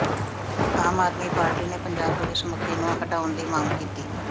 ਆਮ Aadmi party ਨੇ Punjab police ਮੁਖੀ ਨੂੰ ਹਟਾਉਣ ਦੀ ਮੰਗ ਕੀਤੀ